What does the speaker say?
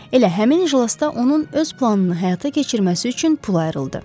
Elə həmin iclasda onun öz planını həyata keçirməsi üçün pul ayrıldı.